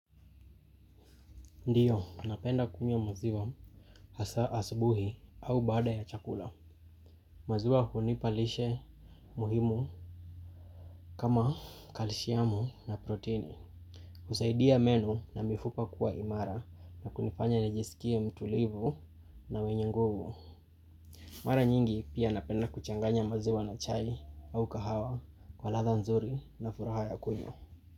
Ndiyo, napenda kunywa maziwa hasaa asubuhi au baada ya chakula. Maziwa hunipa lishe muhimu kama kalishiamu na proteini. Usaidia meno na mifupa kuwa imara na kunifanya nijisikie mtulivu na wenye nguvu. Mara nyingi pia napenda kuchanganya maziwa na chai au kahawa kwa latha nzuri na furaha ya kunywa.